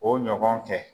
O ɲɔgɔn cɛ